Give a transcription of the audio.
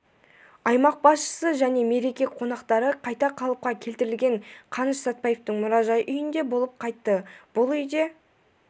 аймақ басшысы және мереке қонақтары қайта қалыпқа келтірілген қаныш сәтпаевтың мұражай үйінде болып қайтты бұл үйде